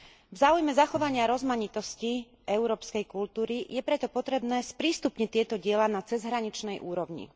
V záujme zachovania rozmanitosti európskej kultúry je preto potrebné sprístupniť tieto diela na cezhraničnej úrovni.